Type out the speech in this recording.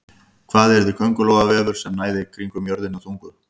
Hvað yrði köngulóarvefur sem næði kringum jörðina þungur?